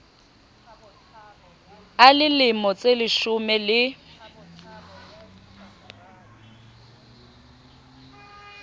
a le lemo tseleshome le